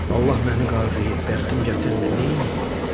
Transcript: Allah məni qarğıyıb, bəxtim gətirmir, neyləyim?